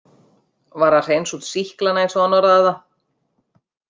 Var að hreinsa út sýklana eins og hann orðaði það.